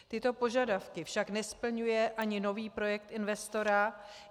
Tyto požadavky však nesplňuje ani nový projekt investora.